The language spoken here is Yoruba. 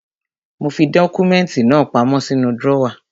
Mo fi dọ́kúmẹ́ntì náà pamọ́ sínú drọ́wà.